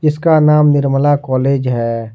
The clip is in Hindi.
इसका नाम निर्मला कॉलेज है।